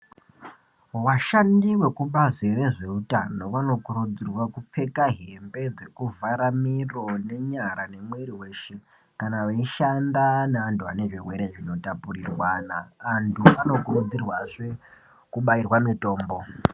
Vashandi vekubazi rezveutano vanokurudzirwa kupfeka hembe dzekuvhara miro nenyara nemwiri weshe kana veishanda nevantu vane zvirwere zvinotapurirwana vantu vanokurudzirwazve kubayirwa mitombo.